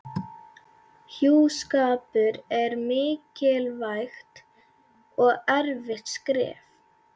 Hjúskapur er mikilvægt og erfitt skref.